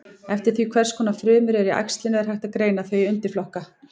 Eftir því hvers konar frumur eru í æxlinu er hægt að greina þau í undirflokka.